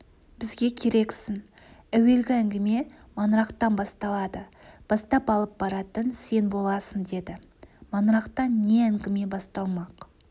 бізге керексің әуелгі әңгіме маңырақтан басталады бастап алып баратын сен боласың деді маңырақта не әңгіме басталмақ